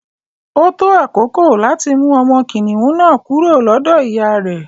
Ó tó àkókò láti mú ọmọ kìnìún na kúrò lọ́dọ̀ ìyá rè.